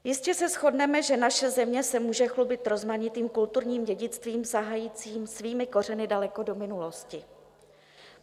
Jistě se shodneme, že naše země se může chlubit rozmanitým kulturním dědictvím, sahajícím svými kořeny daleko do minulosti.